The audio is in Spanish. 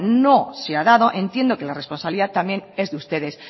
no se ha dado entiendo que la responsabilidad también es de ustedes